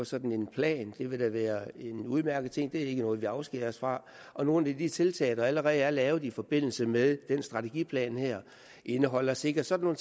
sådan en plan det vil da være en udmærket ting det er ikke noget vi afskærer os fra og nogle af de tiltag der allerede er lavet i forbindelse med den strategiplan her indeholder sikkert sådan